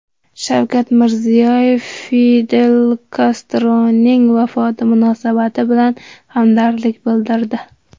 Shavkat Mirziyoyev Fidel Kastroning vafoti munosabati bilan hamdardlik bildirdi.